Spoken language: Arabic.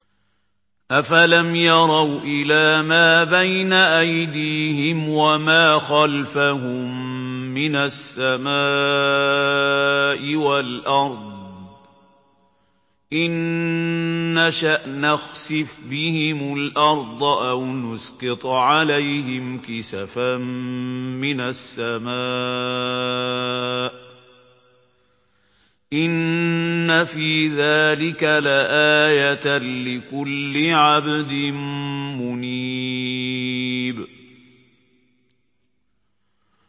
أَفَلَمْ يَرَوْا إِلَىٰ مَا بَيْنَ أَيْدِيهِمْ وَمَا خَلْفَهُم مِّنَ السَّمَاءِ وَالْأَرْضِ ۚ إِن نَّشَأْ نَخْسِفْ بِهِمُ الْأَرْضَ أَوْ نُسْقِطْ عَلَيْهِمْ كِسَفًا مِّنَ السَّمَاءِ ۚ إِنَّ فِي ذَٰلِكَ لَآيَةً لِّكُلِّ عَبْدٍ مُّنِيبٍ